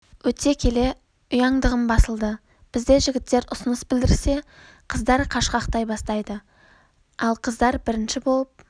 өте келе ұяңдығым басылды бізде жігіттер ұсыныс білдірсе қыздар қашқақтай бастайды ал қыздар бірінші болып